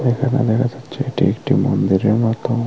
এখানে দেখা যাচ্চে এটা একটি মন্দিরের মতো।